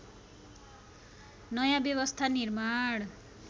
नयाँ व्यवस्था निर्माण